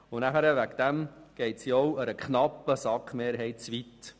Deswegen geht sie einer knappen SAK-Mehrheit zu weit.